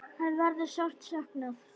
Hans verður sárt saknað.